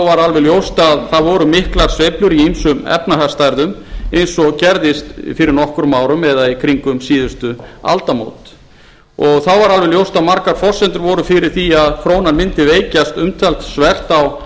var alveg ljóst að það voru miklar sveiflur í ýmsum efnahagsstærðum eins og gerðist fyrir nokkrum árum eða í kringum síðustu aldamót þá var alveg ljóst að margar forsendur voru fyrir því að krónan mundi veikjast umtalsvert